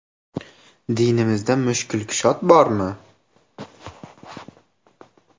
Dinimizda mushkulkushod bormi?.